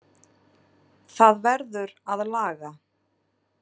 Það verður að laga.